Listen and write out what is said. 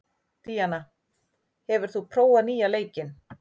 Díanna, hefur þú prófað nýja leikinn?